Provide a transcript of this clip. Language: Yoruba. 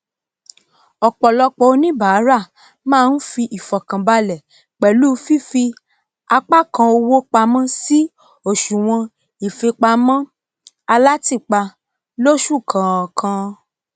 ọpọlọpọ oníbàrà ma n rí ìfọkàbalẹ pẹlu fífí apá kan owó pamọn sí àsùwọn ìfipamọ alátìpa lósù kọkan